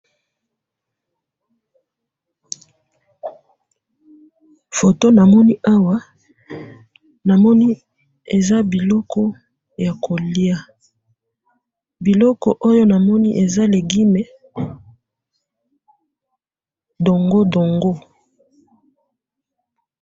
Foto namoni awa namoni eza biloko ya koliya biloko namoni eza dongo dongo.